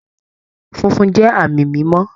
Funfun jẹ́ àmì mímọ́